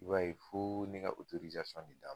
I b'a ye fo ne ka de d'a ma.